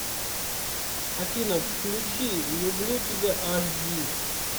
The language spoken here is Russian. афина включи люблю тебя аш ди